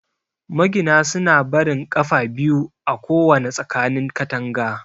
Magina suna barin 'ƙafa' biyu a kowana tsakanin katanga.